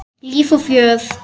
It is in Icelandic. Líf og fjör.